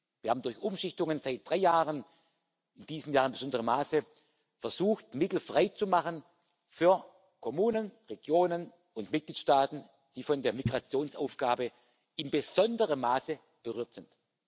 Wir haben durch Umschichtungen seit drei Jahren in diesem Jahr in besonderem Maße versucht, Mittel frei zu machen für Kommunen, Regionen und Mitgliedstaaten, die von der Migrationsaufgabe in besonderem Maße berührt sind.